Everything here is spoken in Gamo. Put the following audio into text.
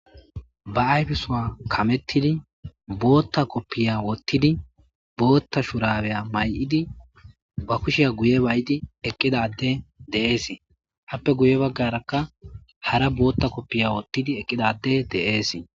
ba ayfisowa kamettidi bootta koppiya wottidi bootta shurabeya may7idi ba kushiya guye bay7di eqqidade de7ees happe guye baggarakka hara bootta koppiya wottidi eqqidade de7ees